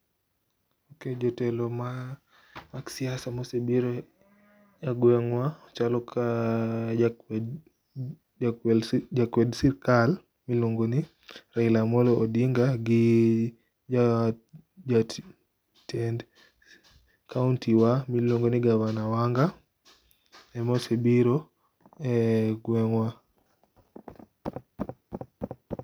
Jotelo mag siasa mosebiro e gwengwa chalo ka jakwed sirkal miluongo ni Raila Amollo Odinga gi ja jatend kaunti wa midendo ni gavana Wanga ema osebiro e gwengwa